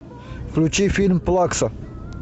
включи фильм плакса